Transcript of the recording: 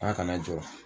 Ala kana jɔ